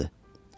O sağdır.